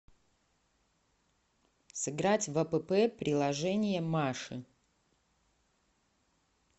сыграть в апп приложение маши